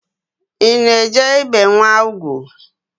I na-eje ibe nwa ugwu?